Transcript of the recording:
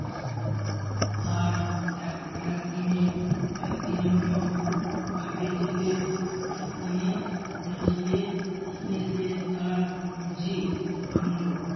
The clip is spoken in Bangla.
তার একদি~ একদিনে এক দিনের নিয়ত টিপে টিপে একদিনে দুই টিপে টিপে সে তার জিদ ভাঙলো